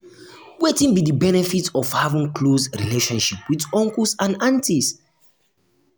wetin be di benefit of having close relationship with uncles and aunties?